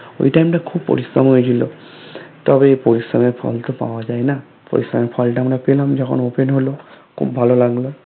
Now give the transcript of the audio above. ওই টাইমটা খুব পরিশ্রম হয়েছিল তবে পরিশ্রম এর ফল তো পাওয়া যায়না পরিশ্রম এর ফলটা আমরা পেলাম যখন Open হলো খুব ভালো লাগলো